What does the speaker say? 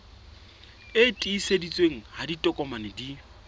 e tiiseditsweng ha ditokomane di